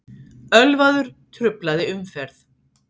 Ölvaður truflaði umferð